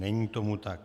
Není tomu tak.